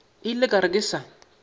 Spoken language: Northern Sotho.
ile ka re ke sa